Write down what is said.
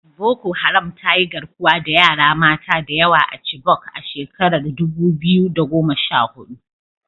Boko Haram ta yi garkuwa da yara mata da yawa a Chibok a shekarar dubu biyu da goma sha hudu.